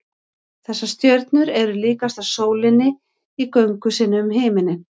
þessar stjörnur eru líkastar sólinni í göngu sinni um himininn